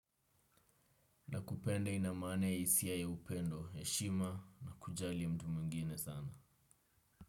Nakupenda ina maana ya isia ya upendo, heshima na kujali mtu mwingine sana.